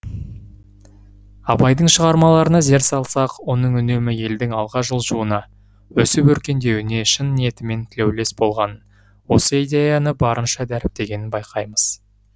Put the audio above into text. абайдың шығармаларына зер салсақ оның үнемі елдің алға жылжуына өсіп өркендеуіне шын ниетімен тілеулес болғанын осы идеяны барынша дәріптегенін байқаймыз